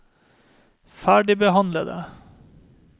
ferdigbehandlede